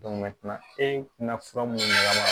e tɛna fura mun d'a ma